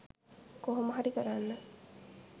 කොහොම හරි කරන්න.